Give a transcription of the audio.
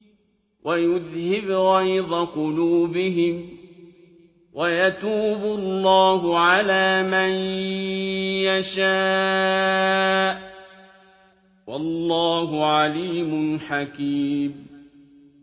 وَيُذْهِبْ غَيْظَ قُلُوبِهِمْ ۗ وَيَتُوبُ اللَّهُ عَلَىٰ مَن يَشَاءُ ۗ وَاللَّهُ عَلِيمٌ حَكِيمٌ